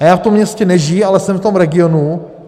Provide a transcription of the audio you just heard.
A já v tom městě nežiji, ale jsem v tom regionu.